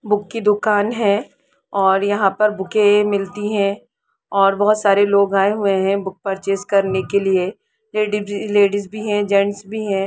Book की दुकान है और यहां पे बुक मिलती है और यहां पर बहुत सारे लोग आए हैं बुक पर्चेस करने के लिए लेडिश भी है जेंट्स भी है।